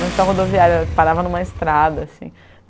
Não tinha rodoviário, parava em uma estrada assim.